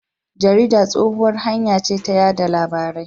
Jarida tsohuwar hanya ce ta yada labarai.